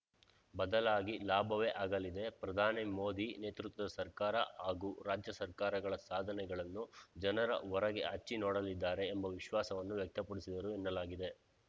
ಬದಲಾಗಿ ಲಾಭವೇ ಆಗಲಿದೆ ಪ್ರಧಾನಿ ಮೋದಿ ನೇತೃತ್ವದ ಸರ್ಕಾರ ಹಾಗೂ ರಾಜ್ಯ ಸರ್ಕಾರಗಳ ಸಾಧನೆಗಳನ್ನು ಜನ ಒರೆಗೆ ಹಚ್ಚಿ ನೋಡಲಿದ್ದಾರೆ ಎಂಬ ವಿಶ್ವಾಸವನ್ನೂ ವ್ಯಕ್ತಪಡಿಸಿದರು ಎನ್ನಲಾಗಿದೆ